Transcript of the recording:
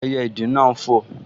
Ẹyẹ ìdì náà n fò